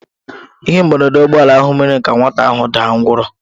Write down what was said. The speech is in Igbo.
Ihe mberede ụgbọ ala ahụ mere ka nwata ahụ daa ngwọrọ.